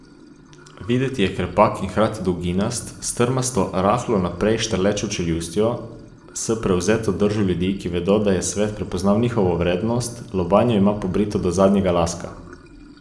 Videti je krepak in hkrati dolginast, s trmasto, rahlo naprej štrlečo čeljustjo, s prevzetno držo ljudi, ki vedo, da je svet prepoznal njihovo vrednost, lobanjo ima pobrito do zadnjega laska.